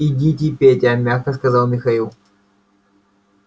идите петя мягко сказал михаил